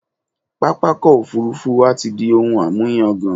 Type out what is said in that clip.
Pápákọ̀ òfurufú wa ti di ohun àmúyagàn.